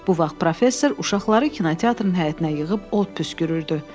Bu vaxt professor uşaqları kinoteatrın həyətinə yığıb od püskürürdü.